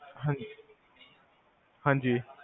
ਹਾਂਜੀ ਹਾਂਜੀ